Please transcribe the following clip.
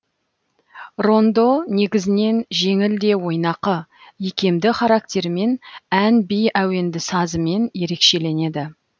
рондо негізінен жеңіл де ойнақы икемді характерімен ән би әуенді сазымен ерекшеленеді